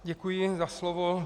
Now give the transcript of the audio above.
Děkuji za slovo.